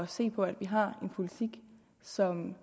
sikre at vi har en politik som